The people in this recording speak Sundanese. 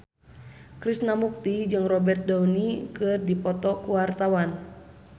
Krishna Mukti jeung Robert Downey keur dipoto ku wartawan